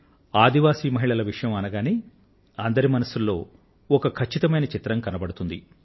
ఆదివాసి మహిళల విషయం అనగానే అందరి మనసుల్లో ఒక ఖచ్చితమైన చిత్రం కనబడుతుంది